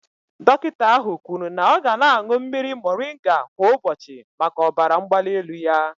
Dọkịta ahụ kwuru na ọ ga na-aṅụ mmiri moringa kwa ụbọchị maka ọbara mgbali elu ya.